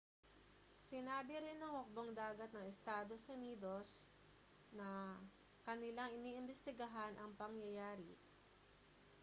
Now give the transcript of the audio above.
sinabi rin ng hukbong-dagat ng estados unidos na kanilang iniimbestigahan ang pangyayari